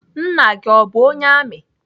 Nna gị o bụ onye amị?